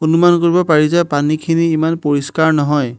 অনুমান কৰিব পাৰি যে পানীখিনি ইমান পৰিষ্কাৰ নহয়।